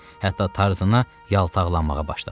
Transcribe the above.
Hətta Tarzana yaltaqlanmağa başladı.